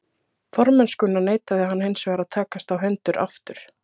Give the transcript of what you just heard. Formennskuna neitaði hann hinsvegar að takast á hendur aftur.